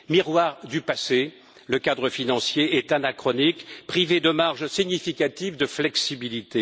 Miroir du passé, le cadre financier est anachronique, privé de marge significative de flexibilité.